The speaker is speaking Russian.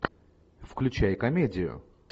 включай комедию